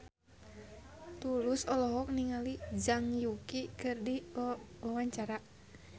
Tulus olohok ningali Zhang Yuqi keur diwawancara